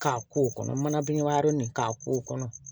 K'a ko kɔnɔ manabini waro nin k'a ko kɔnɔ